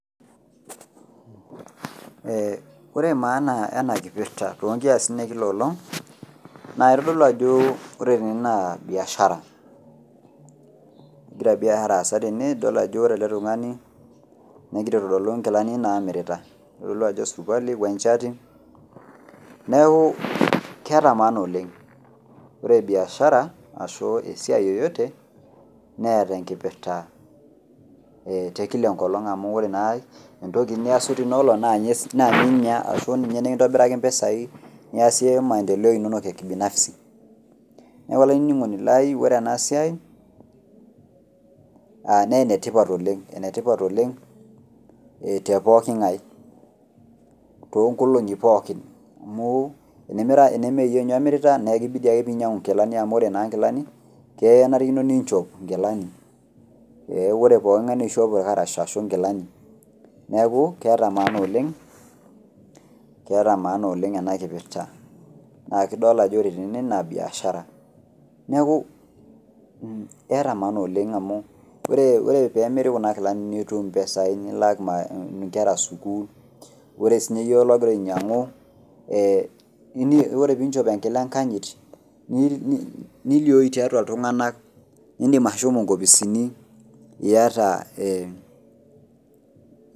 ore maana ena kipirta too inkiyasin ekila engolong' naa kitodolu ajo ore ene naa biashara egira biashara aasa teneweji, egira aitodolu inkilani naa mirta itodolu ajo esirikuali wechati neeku keeta maana oleng' ore biashara ashu esiai yeyote naa tenkipirta tekila enkolong amu ore naa entoki niyasu teina olong' naaa ninye nikindobiraki imbisai, neeku ore ena siai naa enetipat oleng' too inkolong'i pooki amu temeyie ninye namirita, naa kibidi ake pee inyang'u naa kenarikino nichop inkilani aa ore pooki ng'ae naa kishop inkilani ashu ilkarash, neeku keeta maana oleng amu ore pee emiri kuna kilani nilaki inkera sukul ore sii ninye iyie oltung'ani keeku idim atijing'a nilioyu atua iltung'anak ilo ninye inkopisini iyata ee.